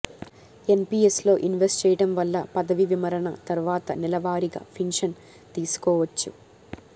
ఎన్పీఎస్లో invest చేయడం వల్ల పదవీ విరమణ తర్వాత నెలవారీగా పింఛన్ తీసుకోవచ్చు